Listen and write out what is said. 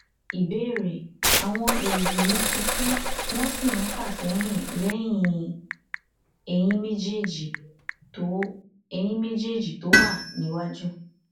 ìbéèrè awon erigi mi ti ku won si n fasehin lẹyìn eyin méjèèjì tó eyin méjèèjì tó wà níwájú